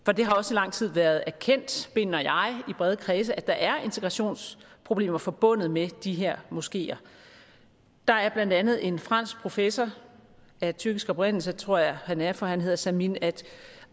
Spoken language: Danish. lang tid været erkendt mener jeg i brede kredse at der er integrationsproblemer forbundet med de her moskeer der er blandt andet en fransk professor af tyrkisk oprindelse tror jeg han er for han hedder samim